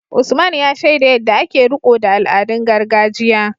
Usman, ya shaida yadda ake riko da al’adun gargajiya.